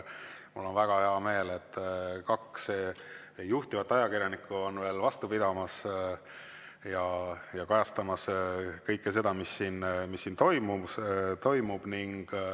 Mul on väga hea meel, et kaks juhtivat ajakirjanikku on veel vastu pidamas ja kajastamas kõike seda, mis siin toimub.